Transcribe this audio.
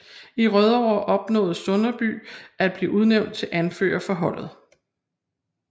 I Rødovre opnåede Sønderby at blive udnævnt til anfører for holdet